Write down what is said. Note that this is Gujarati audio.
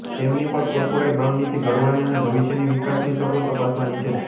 તેમની પર કોર્પોરેટ રણનીતી ઘડવાની અને ભવિષ્યની વિકાસની તકો તપાસવાની છે